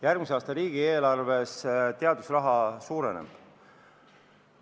Järgmise aasta riigieelarves teadusraha suureneb.